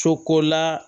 Sokola